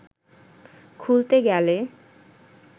খুলতে গেলে